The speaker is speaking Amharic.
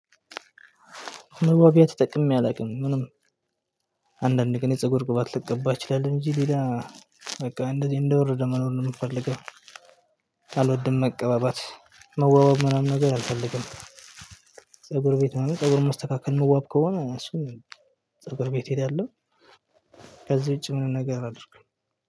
መዋቢያ ተጠቅሜ አላውቅም ምንም አንዳንድ ግን የፀጉር ቅባት ልቀባ እችላለሁ እንጂ ሌላ በቃ እንደዚህ እንደወረደ መኖር ነው ምፈልገው። አልወድም መቀባባት መዋዋብ ምናምን ነገር አልፈልግም። ፀጉር ቤት መሆኑ ፀጉር መስተካከል መዋብ ከሆነ እሱን ፀጉር ቤት ሄዳለሁ እሄዳለሁ። ከዚህ ውጭ ምንም ነገር አድርግም